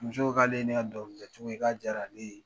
Muso k'ale n'a ka dɔnkilidacogo ye k'a diyarara ale ye